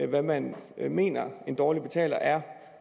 hvad man mener en dårlig betaler er